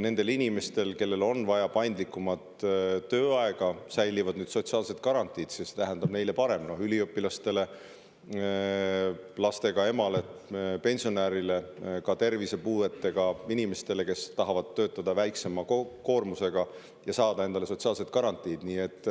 nendel inimestel, kellel on vaja paindlikumat tööaega, säilivad sotsiaalsed garantiid ja see tähendab neile paremat olukorda – üliõpilasele, lastega emale, pensionärile, ka tervisepuudega inimesele, kes tahab töötada väiksema koormusega ja saada endale sotsiaalseid garantiisid.